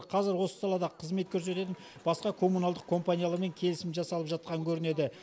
қазір осы салада қызмет көрсететін басқа коммуналдық компаниялармен келісім жасалып жатқан көрінеді